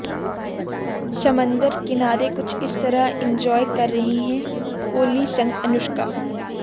समंदर किनारे कुछ इस तरह एन्जॉय कर रहे है कोहली संग अनुष्का